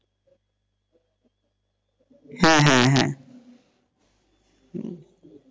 হ্যাঁ হ্যাঁ হ্যাঁ,